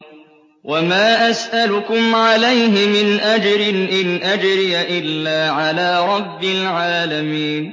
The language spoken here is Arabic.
وَمَا أَسْأَلُكُمْ عَلَيْهِ مِنْ أَجْرٍ ۖ إِنْ أَجْرِيَ إِلَّا عَلَىٰ رَبِّ الْعَالَمِينَ